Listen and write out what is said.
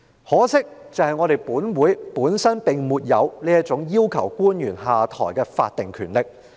可惜，立法會本身並沒有這項要求官員下台的法定權力。